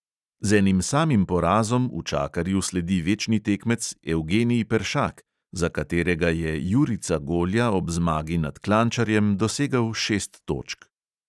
Z enim samim porazom učakarju sledi večni tekmec evgenij peršak, za katerega je jurica golja ob zmagi nad klančarjem dosegel šest točk.